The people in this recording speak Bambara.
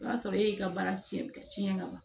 O y'a sɔrɔ e y'i ka baara tiɲɛ tiɲɛ ka ban